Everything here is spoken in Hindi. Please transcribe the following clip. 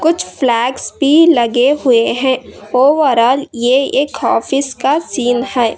कुछ फ्लैग्स भी लगे हुए हैं ओवरऑल यह एक ऑफिस का सीन है।